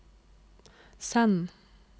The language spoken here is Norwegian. send